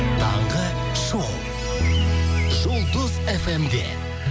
таңғы шоу жұлдыз фм де